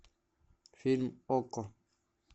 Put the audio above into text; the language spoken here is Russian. фильм окко